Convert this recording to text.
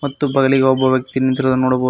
ಮತ್ತು ಬಗಲಿಗೆ ಒಬ್ಬ ವ್ಯಕ್ತಿ ನಿಂತಿರುವುದು ನೋಡಬಹುದು.